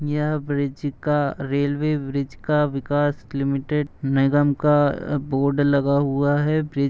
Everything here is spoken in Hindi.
यह ब्रिज का रेलवे ब्रीच का विकास लिमिटेड निगम का बोर्ड लगा हुआ है। ब्रिज --